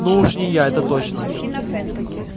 ну уж не я это точно